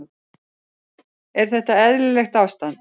Er þetta eðlilegt ástand?